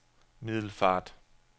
Middelfart